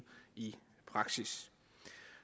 i praksis